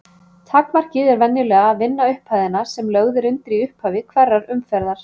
Takmarkið er venjulega að vinna upphæðina sem lögð er undir í upphafi hverrar umferðar.